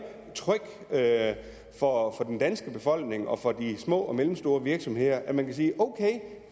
trygt for den danske befolkning og for de små og mellemstore virksomheder at man kan sige okay